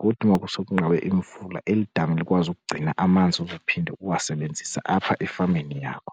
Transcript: kuthi uma kusekunqabe imvula eli dami likwazi ukugcina amanzi ozophinde uwasebenzise apha efameni yakho.